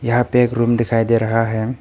यहां पे एक रूम दिखाई दे रहा है।